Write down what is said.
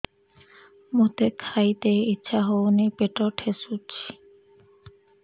ମୋତେ ଖାଇତେ ଇଚ୍ଛା ହଉନି ପେଟ ଠେସୁଛି